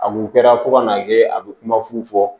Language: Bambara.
A kun kɛra fo ka n'a kɛ a bɛ kuma fu fɔ